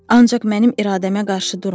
Ancaq mənim iradəmə qarşı durma!